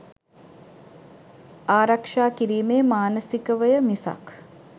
"ආරක්ෂා කිරීමේ" මානසිකවය මිසක්